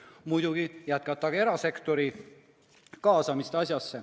Muidugi jätkata ka erasektori kaasamist.